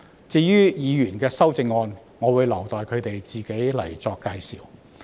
至於議員的修正案，我會留待他們自己闡述。